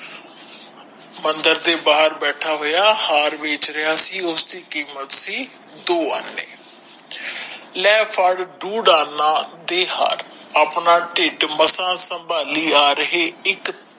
ਮੰਦਿਰ ਦੇ ਬਹਾਰ ਬੈਠਾ ਹੋਯਾ ਹਾਰ ਵੇਚ ਰਿਹਾ ਸੀ ਉਸਦੀ ਦੀ ਕੀਮਤ ਸੀ ਦੋ ਆਨੇ ਲੈ ਫੜ ਦੋ ਆਨਾ ਦੇ ਹਾਰ ਆਪਣਾ ਟਿਡ ਮਸਾਂ ਸਭਾਂਲੀ ਆ ਰਹੀ ਇਕ